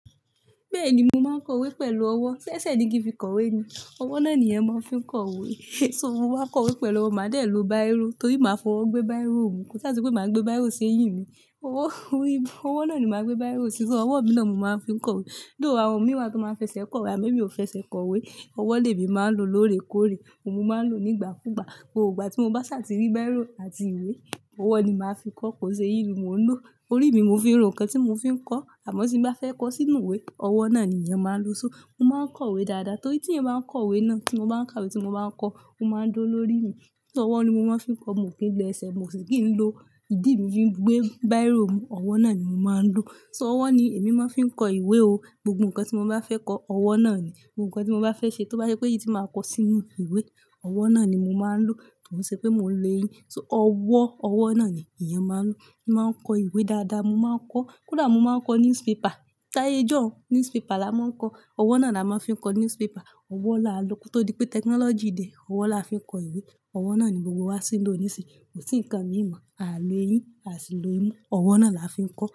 Bẹ́ẹ̀ni, mo máa ń kọwé pẹ̀lú ọwọ́. Sé ẹsẹ̀ ní kí fi kọwé ni, ọwọ́ náà ni èèyàn máa ń fi kọwé. So mo wá kọwé pẹ̀lú ọwọ́, màá dé lo báírò torí màá fọ́wọ́ gbé báírò, kọ́, sáà se pé màá gbé báírò sí eyín mi. Ọwọ́, orí, ọwọ́ náà ni màá gbé báírò sí, ṣo ọwọ́ mi náà mo máa ń fi kọwé. Though àwọn mìíràn tó máa ń fẹsẹ̀ kọwe, àmo emí o fẹ ṣe kọwé, ọwọ́ lè mí máa ń lo lóòrè kóòrè, mo máa ń lò nígbà kúgbà. Gbogbogbà tí mo bá ṣàtìrí báírò àti ìwé, ọwọ́ ni màá fi kọ́, kò ṣe eyín mo ń lò. Orí mi mo fi ń ro nnkan tí mo fi ń kọ́, àmọ́ tí n bá fẹ́ kọ sínú ìwé, ọwọ́ náà ni èèyàn máa ń lo só. Mo máa ń kọwé dáadáa torí tí èèyàn bá ń kọwé náà, tí mo bá ń ka wé tí mo bá ń kọ, ó máa ń duró lórí mi. Ṣó ọwọ́ ni mo máa ń fi kọ, mò n kí lo ẹsẹ̀, mo sì kí ń lo ìdí mi fi gbé báírò mú, ọwọ́ náà ni mo máa ń lò. So ọwọ́ ni èmi máa ń fi ń kọ ìwé o. Gbogbo nǹkan tí mo bá fẹ́ kọ, ọwọ́ náà ni. Gbogbo nǹkan tí mo bá fẹ́ ṣe, tó bá je pe èyí tí màá kọ sínú ìwé, ọwọ́ náà ni mo máa ń lò. Kon ṣe pé mò ń lo eyín, so ọwọ́, ọwọ́ náà ni èèyàn máa ń lò. Mo máa ń kọ ìwé dáadáa, mo máa ń kọ́, kódà mo máa ń kọ newspaper. Táyé ijọ́un, newspaper làá máa ń kọ. Ọwọ́ náà làá máa fi ń kọ newspaper. Ọwọ́ là á lò. Kó tó pé technology dè, ọwọ́ làá fi ń kọ ìwé. Ọwọ́ náà ni gbogbo wa ṣì ń lò níìsín, kò sí nǹkan míì mọ̀. A lo eyín, a sì lò imú, ọwọ́ náà làá fi ń kọ́